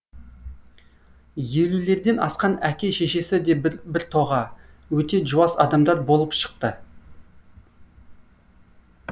елулерден асқан әке шешесі де біртоға өте жуас адамдар болып шықты